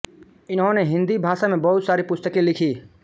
इन्होने हिन्दी भाषा में बहुत सारी पुस्तकें लिखी